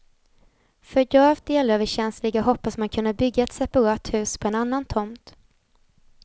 För gravt elöverkänsliga hoppas man kunna bygga ett separat hus på en annan tomt.